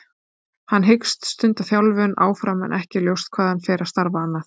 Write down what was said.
Hann hyggst stunda þjálfun áfram en ekki er ljóst hvað hann fer að starfa annað.